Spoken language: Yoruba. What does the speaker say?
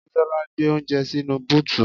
Bisola gbé oúnjẹ sínú búùtù